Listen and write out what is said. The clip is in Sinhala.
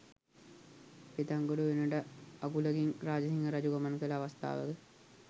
පෙතන්ගොඩ උයනට අගුලකින් රාජසිංහ රජු ගමන් කළ අවස්ථාවක